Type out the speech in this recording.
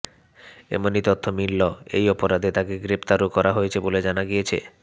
এমনই তথ্য মিলল এই অপরাধে তাঁকে গ্রেফতারও করা হয়েছে বলে জানা গিয়েছে